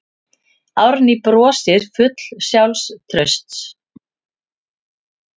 Árný brosir full sjálfstrausts.